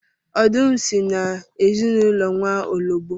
Ọdụm si na ezinụlọ nwaọlọgbọ